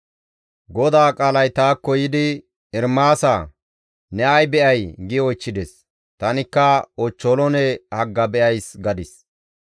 GODAA qaalay taakko yiidi, «Ermaasaa! Ne ay be7ay?» gi oychchides. Tanikka, «Ochcholoone hagga be7ays» gadis.